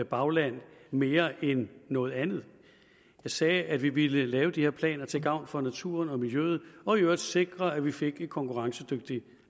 bagland mere end noget andet jeg sagde at vi ville lave de her planer til gavn for naturen og miljøet og i øvrigt sikre at vi fik et konkurrencedygtigt